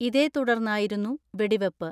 ഇതേതുടർന്നായിരുന്നു വെടിവെപ്പ്.